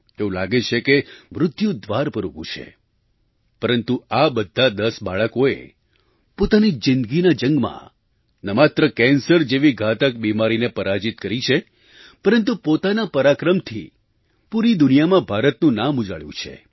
એવું લાગે છે કે મૃત્યુ દ્વાર પર ઊભું છે પરંતુ આ બધાં દસ બાળકોએ પોતાની જિંદગીના જંગમાં ન માત્ર કેન્સર જેવી ઘાતક બીમારીને પરાજિત કરી છે પરંતુ પોતાના પરાક્રમથી પૂરી દુનિયામાં ભારતનું નામ ઉજાળ્યું છે